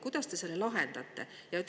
Kuidas te selle lahendaksite?